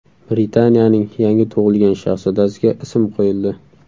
Britaniyaning yangi tug‘ilgan shahzodasiga ism qo‘yildi.